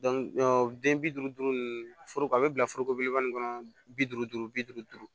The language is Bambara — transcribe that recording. den bi duuru duuru ninnu foro a bɛ bila foroko belebeleba nin kɔnɔ bi duuru duuru bi duuru duuru